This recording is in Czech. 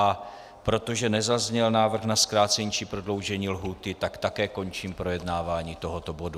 A protože nezazněl návrh na zkrácení či prodloužení lhůty, tak také končím projednávání tohoto bodu.